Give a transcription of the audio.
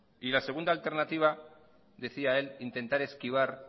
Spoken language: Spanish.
y la segunda alternativa decía él intentar esquivar